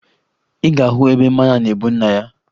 Ị ga-ahụ ebe mmanya na-ebu nna ya